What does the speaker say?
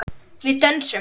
Við dönsum.